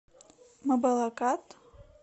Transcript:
мабалакат